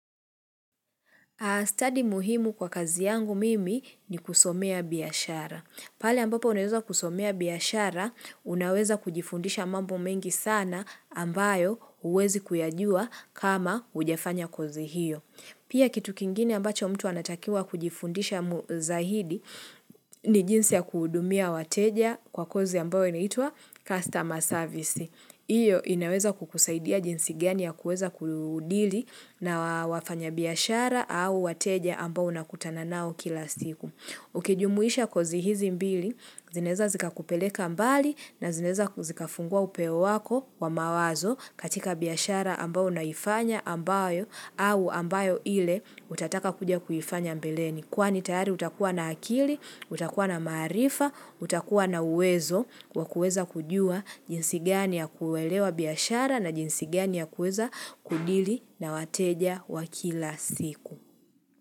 Study muhimu kwa kazi yangu mimi ni kusomea biashara. Pale ambapo unaweza kusomea biashara, unaweza kujifundisha mambo mengi sana ambayo huwezi kuyajua kama hujafanya kozi hio. Pia kitu kingine ambacho mtu anatakiwa kujifundisha mu zaidi ni jinsi ya kuhudumia wateja kwa kozi ambayo inaitwa customer service. Iyo inaweza kukusaidia jinsi gani ya kuweza kudili na wafanya biashara au wateja ambao unakutana nao kila siku. Ukijumuisha kozi hizi mbili, zinaweza zikakupeleka mbali na zinaweza zikafungua upeo wako wa mawazo katika biashara ambayo unaifanya ambayo au ambayo ile utataka kuja kuifanya mbeleni. Kwani tayari utakuwa na akili, utakuwa na maarifa, utakuwa na uwezo wa kuweza kujua jinsi gani ya kuelewa biashara na jinsi gani ya kuweza kudili na wateja wa kila siku.